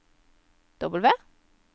W